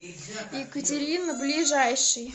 екатерина ближайший